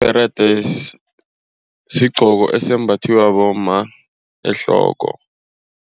Ibherede sigqoko esembathiwa bomma ehloko.